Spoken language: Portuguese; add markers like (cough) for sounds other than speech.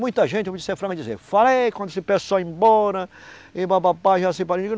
Muita gente (unintelligible) dizer, fala aí, quando esse pessoal ir embora, e papapá, Jaci (unintelligible)